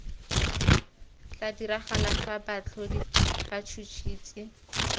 tla diragala fa baatlhodi batšhotšhisi